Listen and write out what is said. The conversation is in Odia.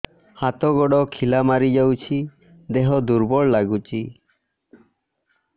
ହାତ ଗୋଡ ଖିଲା ମାରିଯାଉଛି ଦେହ ଦୁର୍ବଳ ଲାଗୁଚି